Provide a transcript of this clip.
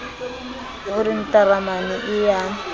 o re ntaramane ee ya